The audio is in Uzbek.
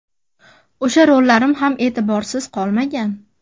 O‘sha rollarim ham e’tiborsiz qolmagan.